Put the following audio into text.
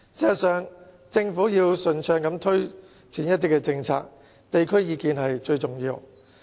事實上，如果政府要順暢地推展政策，地區意見是最重要的。